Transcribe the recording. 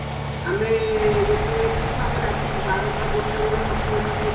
ଆମେ ଯେତେବେଳେ ଥିଲୁ ଆମେ ରାତି ବାରଟା ଗୋଟେବେଳେ ହୋଟେଲରୁ